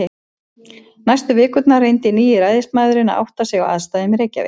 Næstu vikurnar reyndi nýi ræðismaðurinn að átta sig á aðstæðum í Reykjavík.